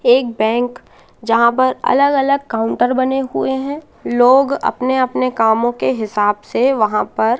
एक बैंक जहां पर अलग अलग काउंटर बने हुएं हैं लोग अपने अपने कामों के हिसाब से वहां पर--